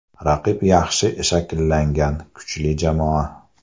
Raqib yaxshi shakllangan, kuchli jamoa.